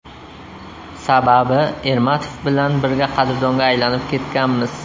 Sababi Ermatov bilan birga qadrdonga aylanib ketganmiz.